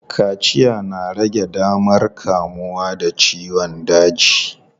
Kaciya na rage damar kamuwa da ciyon daji.